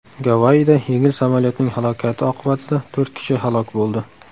Gavayida yengil samolyotning halokati oqibatida to‘rt kishi halok bo‘ldi.